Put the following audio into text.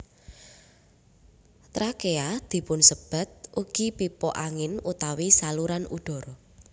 Trakea dipunsebat ugi pipa angin utawi saluran udara